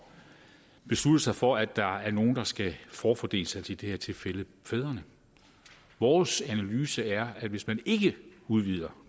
beslutte sig for at der er nogle der skal forfordeles i det her tilfælde fædrene vores analyse er at hvis man ikke udvider